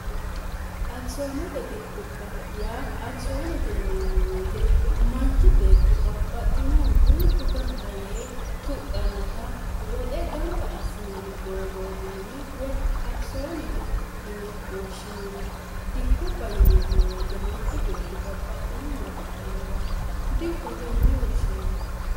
akisoonete dikkubba yaa akisoonete yineemo weyite manchi beetti babbaxxinohu duuchu gamba yee tuqqannota woxe gamba assinanni doogoote yine woy akisoonete yine woshshinanni dikkubba yineemmo woyite manchi beetti babbaxxino hira hidhannowa dikkote yine woshshinanni